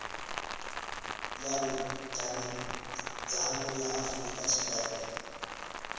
ya vhudavhidzano ya afurika tshipembe